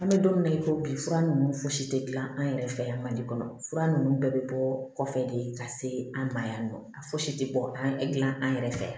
An bɛ don min na i ko bi fura ninnu fosi tɛ dilan an yɛrɛ fɛ yan mali kɔnɔ fura ninnu bɛɛ bɛ bɔ kɔfɛ de ka se an ma yan nɔ a fosi tɛ bɔ an yɛrɛ fɛ yan